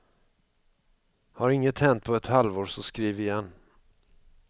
Har inget hänt på ett halvår så skriv igen.